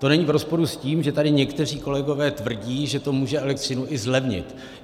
To není v rozporu s tím, že tady někteří kolegové tvrdí, že to může elektřinu i zlevnit.